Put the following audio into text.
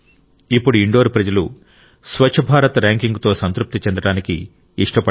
ఇప్పుడు ఇండోర్ ప్రజలు స్వచ్ఛ భారత్ ర్యాంకింగ్తో సంతృప్తి చెందడానికి ఇష్టపడరు